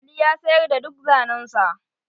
Ali ya sayar da duk zanen sa.